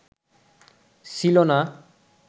ছিল না